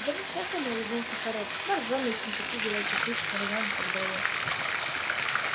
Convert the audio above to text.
да по-всякому улыбнулся хорёк боржоми ессентуки горячий ключ нарзан и так далее